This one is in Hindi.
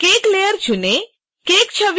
cake लेयर चुनें